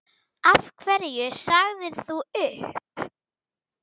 Af hverju sagðir þú upp?